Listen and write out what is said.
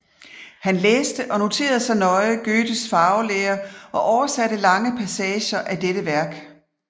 Han læste og noterede sig nøje Goethes farvelære og oversatte lange passager af dette værk